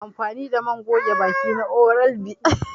I na amfani da man goge baki na oral B.